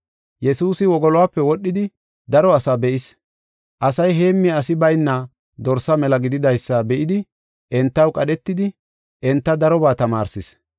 Yesuusi wogoluwape wodhidi daro asa be7is. Asay heemmiya asi bayna dorsa mela gididaysa be7idi entaw qadhetidi enta darobaa tamaarsis.